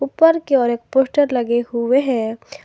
उपर की ओर एक पोस्टर लगे हुए हैं।